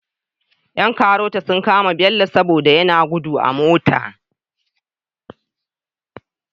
Yan karota sun kama bello sobada yana gudu a mota